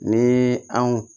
Ni anw